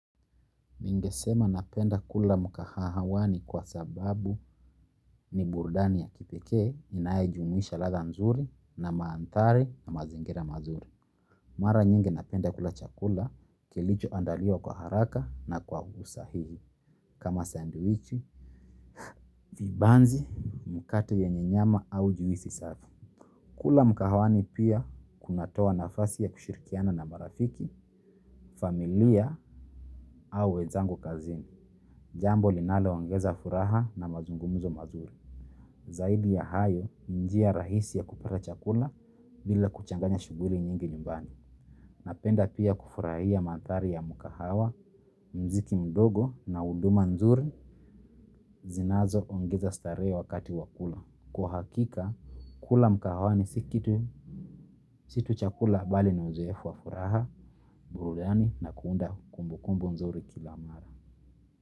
Ningesema napenda kula mkahawani kwa sababu ni burudani ya kipekee, inayejumuisha ladha nzuri na maanthari na mazingira mazuri. Mara nyingi napenda kula chakula kilichoandaliwa kwa haraka na kwa usahihi. Kama sandwichi, vibanzi, mkate yenye nyama au juisi safi. Kula mkahawani pia kunatoa nafasi ya kushirikiana na marafiki, familia au wenzangu kazini. Jambo linalo ongeza furaha na mazungumuzo mazuri. Zaidi ya hayo njia rahisi ya kupata chakula bila kuchanganya shughuli nyingi nyumbani. Napenda pia kufurahia manthari ya mkahawa, muziki mdogo na huduma nzuri zinazo ongeza starehe wakati wa kula. Kwa hakika, kula mkahawani si kitu, si tu chakula bali ni uzoefu wa furaha, burudani na kuunda kumbu kumbu nzuri kila mara.